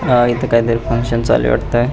अह इथ काहीतरी फंकशन चालू आहे वाटत.